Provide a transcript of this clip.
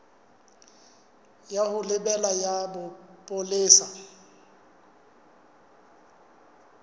ya ho lebela ya bopolesa